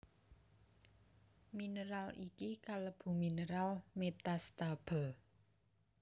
Mineral iki kalebu mineral metastable